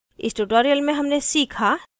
इस tutorial में हमने सीखा